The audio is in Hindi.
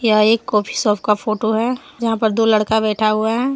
यह एक कॉफी शॉप का फोटो है यहां पर दो लड़का बैठा हुआ है।